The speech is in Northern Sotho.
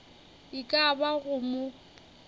e ka ba go mo